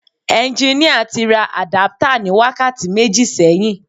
Ẹnginíà tí ra àdáptà ní wákàtí méjì sẹ́yìn